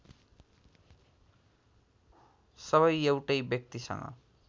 सबै एउटै व्यक्तिसँग